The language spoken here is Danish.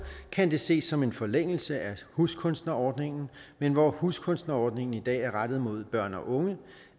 kan det ses som en forlængelse af huskunstnerordningen men hvor huskunstnerordningen i dag er rettet mod børn og unge